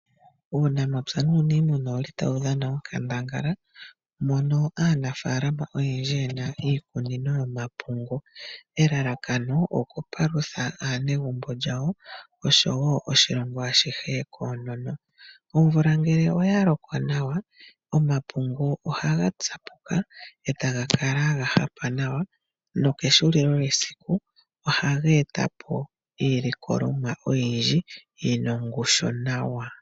Uunamapya nuniimuna owuli tawu dhana onkandangala, mono aanafalama oyendji yena iikunino yomapungu. Elalakano okupalutha aanegumbo lyawo, oshowo oshilongo ashihe koonono. Omvula ngele oya loko nawa, omapungu ohaga tsapuka, e taga kala ga hapa nawa, nokehulilo lyesiku, ohaga e tapo iilikolomwa oyindji yina ongushu nawa.